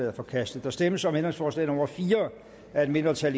er forkastet der stemmes om ændringsforslag nummer fire af et mindretal